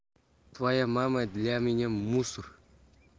твоя мама для меня мусор